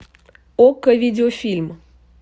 окко видеофильм